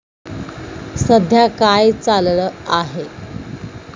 सध्या काय चाललं आहे?